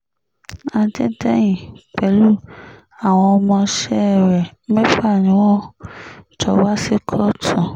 adédèyìn pẹ̀lú àwọn ọmọọṣẹ́ rẹ̀ mẹ́fà ni wọ́n jọ wá sí kóòtù